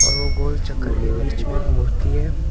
और वो गोल चक्कर के बीच में एक मूर्ति है।